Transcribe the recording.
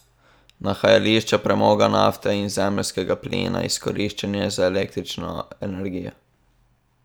Nahajališča premoga, nafte in zemeljskega plina izkoriščanje za električno energijo.